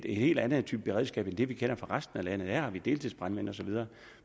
en helt anden type beredskab end det vi kender for resten af landet der har de deltidsbrandmænd osv og